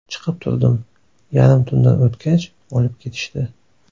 Chiqib turdim, yarim tundan o‘tgach olib ketishdi.